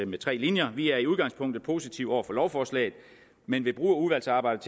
med tre linjer vi er i udgangspunktet positive over for lovforslaget men vi bruger udvalgsarbejdet